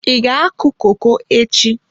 Ị ga-akụ koko echi?